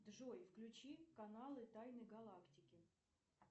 джой включи каналы тайны галактики